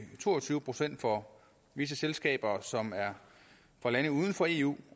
to og tyve procent for visse selskaber som er fra lande uden for eu